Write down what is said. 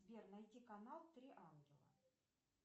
сбер найти канал три ангела